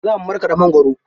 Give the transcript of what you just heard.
Za mu markaɗa mangwaro.